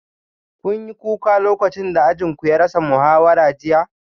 Kun yi kuka lokacin da ajin ku ya rasa muhawara jiya?